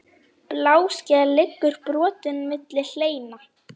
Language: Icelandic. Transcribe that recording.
Bláskel liggur brotin milli hleina.